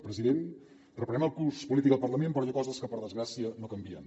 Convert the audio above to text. president reprenem el curs polític al parlament però hi ha coses que per desgràcia no canvien